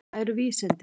Hvað eru vísindi?